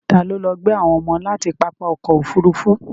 Ta ló lọ gbé àwọn ọmọ láti pápá ọkọ̀ Òfurufú?